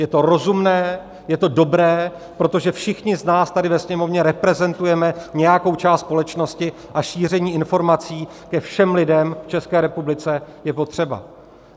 Je to rozumné, je to dobré, protože všichni z nás tady ve Sněmovně reprezentujeme nějakou část společnosti a šíření informací ke všem lidem v České republice je potřeba.